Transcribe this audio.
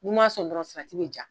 N'u ma'a son dɔrɔn salati bɛ ja.